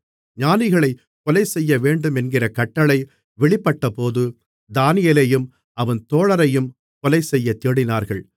ஞானிகளைக் கொலைசெய்யவேண்டுமென்கிற கட்டளை வெளிப்பட்டபோது தானியேலையும் அவன் தோழரையும் கொலைசெய்யத் தேடினார்கள்